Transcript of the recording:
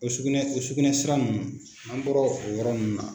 O sugunɛ o sugunɛ sira ninnu n'an bɔra o yɔrɔ nunnu na.